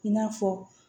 I n'a fɔ